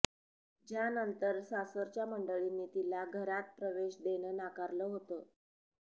ज्यानंतर सासरच्या मंडळींनी तिला घरात प्रवेश देणं नाकारलं होतं